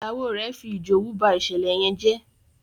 Ìyàwó rẹ fí ijowú bá ìṣẹlẹ yén jé.